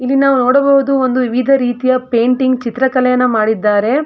ಇಲ್ಲಿ ನಾವು ನೋಡಬಹುದು ಒಂದು ವಿವಿಧ ರೀತಿಯ ಪೇಂಟಿಂಗ್ ಚಿತ್ರ ಕಲೆಯನ್ನು ಮಾಡಿದ್ದಾರೆ.